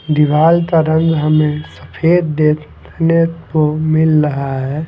दीवाल का रंग हमें सफेद देखने को मिल रहा है।